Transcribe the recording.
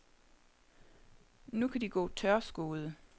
Nu kan de gå tørskoede.